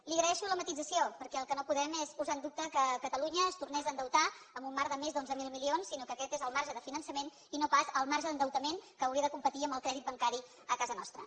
li agraeixo la matisació perquè el que no podem és posar en dubte que catalunya es tornés a endeutar en un marc de més d’onze mil milions sinó que aquest és el marge de finançament i no pas el marge d’endeutament que hauria de competir amb el crèdit bancari a casa nostra